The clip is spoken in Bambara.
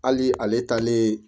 Hali ale taalen